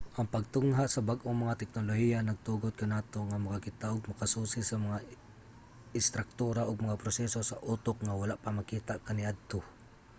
ang pagtungha sa bag-ong mga teknolohiya nagtugot kanato nga makakita ug makasusi sa mga istruktura ug mga proseso sa utok nga wala pa makita kaniadto